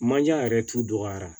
Manje yɛrɛ t'u dɔgɔyara